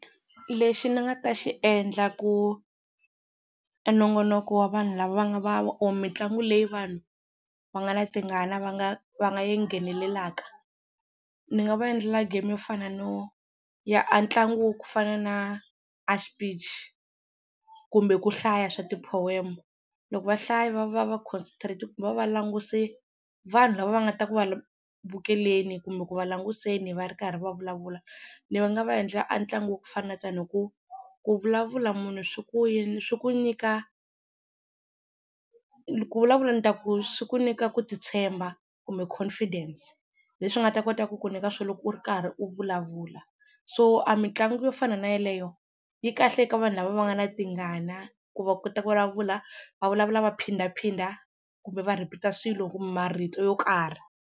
Lexi ni nga ta xi endla ku nongonoko wa vanhu lava va nga va or mitlangu leyi vanhu va nga na tingana va nga va nga yi nghenelelaka ni nga va endlela game yo fana no ya a ntlangu wa ku fana na a xipichi kumbe ku hlaya swa ti-poem. Loko va hlaya va va va concentrate kumbe va va va languse vanhu lava va nga ta ku va vukeleni kumbe ku va languseni va ri karhi va vulavula ni nga va endlela a ntlangu wo fana na tani hi ku ku vulavula munhu swi ku yini swi ku nyika ku vulavula ni ta ku swi ku swi ku nyika ku titshemba kumbe confidence leswi nga ta kota ku ku nyika swona loko u ri karhi u vulavula. So a mitlangu yo fana na yeleyo yi kahle eka vanhu lava va nga na tingana ku va kota ku vulavula va vulavula va phindaphinda kumbe va repeat-a swilo kumbe marito yo karhi.